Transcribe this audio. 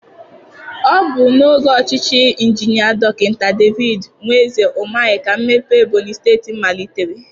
Ọ bụ n'oge ọchịchị Injinia Dọkịta David Nweze Umahi ka mmepe Ebonyị steeti malitere.